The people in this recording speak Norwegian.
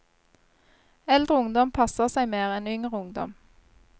Eldre ungdom passer seg mer enn yngre ungdom.